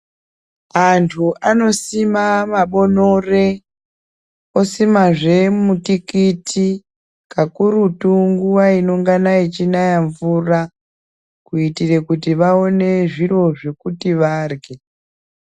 Antu anosima mabonore osimazve mutikiti kakurutu nguwa inongana ichinaya mvura Kuitire kuti vaone zviro zvekuti varye.